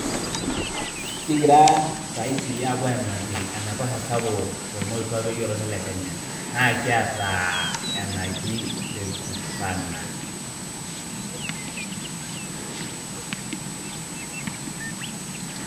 Kingira saai apuo aimaki enaiposha sapuk the mokwape olosho lekenya. Naa kiata enkaji lake turkana.